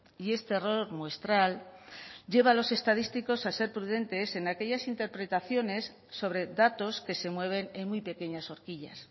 y este error muestral lleva a los estadísticos a ser prudentes en aquellas interpretaciones sobre datos que se mueven en muy pequeñas horquillas